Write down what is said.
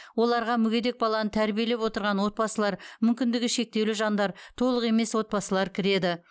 оларға мүгедек баланы тәрбиелеп отырған отбасылар мүмкіндігі шектеулі жандар толық емес отбасылар кіреді